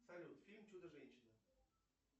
салют фильм чудо женщина